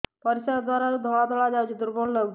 ପରିଶ୍ରା ଦ୍ୱାର ରୁ ଧଳା ଧଳା ଯାଉଚି ଦୁର୍ବଳ ଲାଗୁଚି